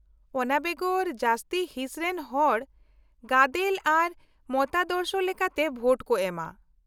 -ᱚᱱᱟ ᱵᱮᱜᱚᱨ ᱡᱟᱹᱥᱛᱤ ᱦᱤᱥ ᱨᱮᱱ ᱦᱚᱲ ᱜᱟᱫᱮᱞ ᱟᱨ ᱢᱚᱛᱟᱫᱚᱨᱥᱚ ᱞᱮᱠᱟᱛᱮ ᱵᱷᱳᱴ ᱠᱚ ᱮᱢᱟ ᱾